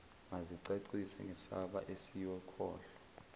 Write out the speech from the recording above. mazicacise ngesamba esiyokhokhwa